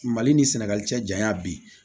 Mali ni sɛnɛgali cɛ janya bi